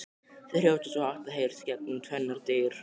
Þau hrjóta svo hátt að það heyrist gegnum tvennar dyr!